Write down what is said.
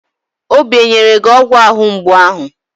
Obi enyere gi ọgwụ ahụ mgbu ahụ?